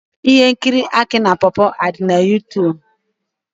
Ihe nkiri aki na pawpaw adi na Youtube?